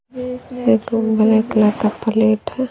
एक गो black colour का प्लेट है।